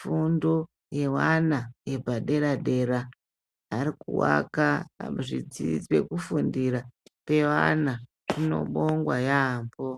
fundo yevana yepadera dera ari kuaka pekufundira peana zvinobongwa yambo.